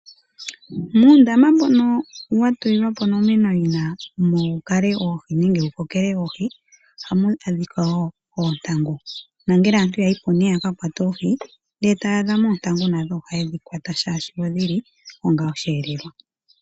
Muundama mbono wa tulwa po onomenawina mu kale oohi nenge mu kokele oohi ohamu adhika wo oontangu nongele aantu ya yi po ihe ya ka kwate oohi e taya adha mo oontangu nadho ohaye dhi kwata, oshoka odhi li onga osheelelwa.